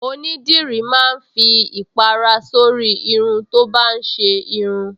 Onídìrí máa ń fi ìpàrà sórí irun tó bá ń ṣe irun